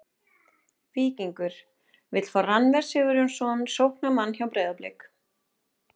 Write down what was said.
Víkingur: Vill fá Rannver Sigurjónsson sóknarmann hjá Breiðablik.